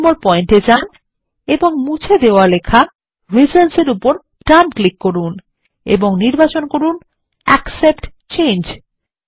২ number point এ যান এবং মুছে দেওয়া লেখা রিজনস এর উপর ডান ক্লিক করুন এবং নির্বাচন করুন অ্যাকসেপ্ট চেঞ্জ